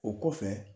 O kɔfɛ